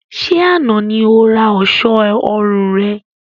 Ṣé àna ni ó ra ọ̀ṣọ́ ọrùn rẹ?